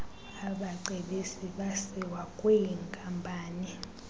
abacebisi basiwa kwwinkampani